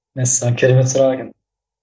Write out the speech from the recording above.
мәссаған керемет сұрақ екен